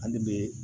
An de be